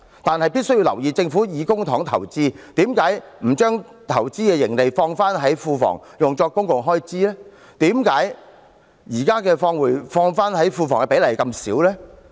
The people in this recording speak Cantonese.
可是，必須留意的是，政府以公帑投資，為何不把投資盈利放回庫房作公共開支，為何現時放回庫房的比例這麼低？